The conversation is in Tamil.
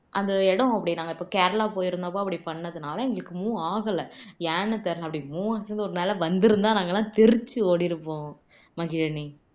அந்த இடம் அப்படி நாங்க இப்போ கேரளா போயிருந்தப்போ அப்படி பண்ணதால எங்களுக்கு move ஆகல ஏன்னு தெரியல அப்படி move ஆச்சு வந்துருந்தா நாங்க எல்லாம் தெரிச்சு ஓடிருப்போம் மகிழினி